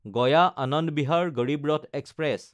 গায়া–আনন্দ Bihar Garib Rath express